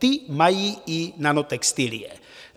Ty mají i nanotextilie.